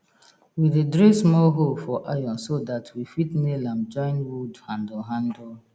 we dey drill small hole for iron so dat we fit nail am join wood handle handle